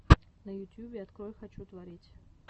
на ютьюбе открой хочу творить